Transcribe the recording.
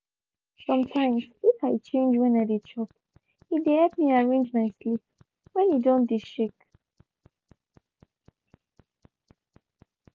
sometimes if i change when i dey chop e dey help me arrange my sleep when e don dey shake.